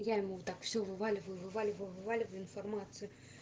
я ему так все вываливаю вываливаю вываливаю информацию